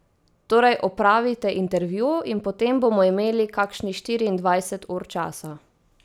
Torej opravite intervju in potem bomo imeli kakšnih štiriindvajset ur časa.